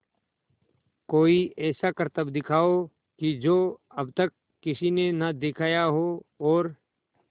कोई ऐसा करतब दिखाओ कि जो अब तक किसी ने ना दिखाया हो और